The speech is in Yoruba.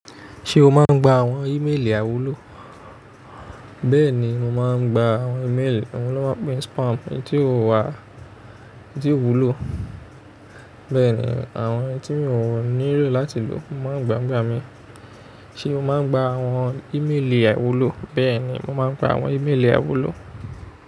Ṣé o máa ń gba àwọn ímeèlì àìwúlò? Bẹ́ẹ̀ni, mo máa ń gba àwọn ímeèlì, àwọn ló máa ń pe ọ́n spam. Eyí tí ó wà, eyí tí ó wúlò, bẹ́ẹ̀ ni àwọn eyí tí mi ò nílò láti lò mo máa ń gbàǹgbà mi. Ṣé o máa ń gba àwọn ímeèlì àwúlò? Bẹ́ẹ̀ni, mo máa ń gba àwọn ímeèlì àwúlò.